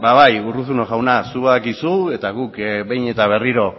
ba bai urruzuno jauna zuk badakizu eta guk behin eta berriro